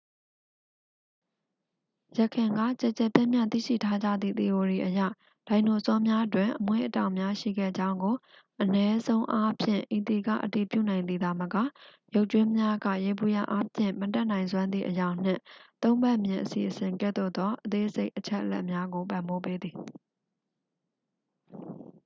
ယခင်က ကျယ်ကျယ်ပြန့်ပြန့် သိရှိထားကြသည့် သီအိုရီအရ ဒိုင်နိုဆောများတွင် အမွေးအတောင်များရှိခဲ့ကြောင်းကို အနည်းဆုံးအားဖြင့် ဤသည်က အတည်ပြုနိုင်သည်သာမက ရုပ်ကြွင်းများက ယေဘုယျအားဖြင့် မတတ်နိုင်စွမ်းသည့် အရောင်နှင့် သုံးဖက်မြင်အစီအစဉ်ကဲ့သို့သော အသေးစိတ်အချက်အလက်များကို ပံ့ပိုးပေးသည်